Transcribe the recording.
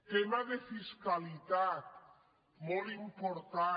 tema de fiscalitat molt important